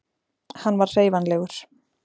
hann var hreyfanlegur